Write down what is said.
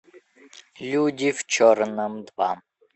люди в черном два